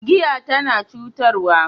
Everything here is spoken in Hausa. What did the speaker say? Giya tana cutarwa.